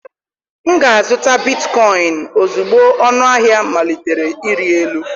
M ga-azụta bitkoịn ozugbo ọnụahịa malitere ịrị elu.